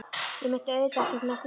Ég meinti auðvitað ekkert með því.